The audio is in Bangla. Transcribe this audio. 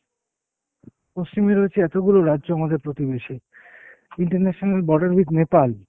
পশ্চিমে রয়েছে এতগুলো রাজ্য আমাদের প্রতিবেশী, international border with Nepal।